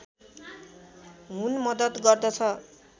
हुन मद्दत गर्दछ